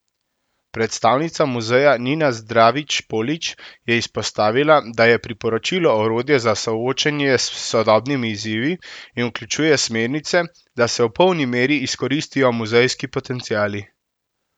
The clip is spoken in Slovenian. Predstavnica muzeja Nina Zdravič Polič je izpostavila, da je priporočilo orodje za soočanje s sodobnimi izzivi in vključuje smernice, da se v polni meri izkoristijo muzejski potenciali.